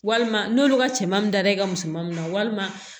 Walima n'olu ka cɛman da i ka musomannin na walima